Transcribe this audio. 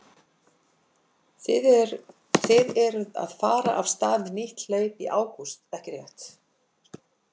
Þið er að fara af stað með nýtt hlaup í ágúst ekki rétt?